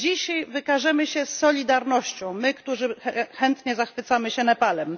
Czy dzisiaj wykażemy się solidarnością my, którzy chętnie zachwycamy się Nepalem?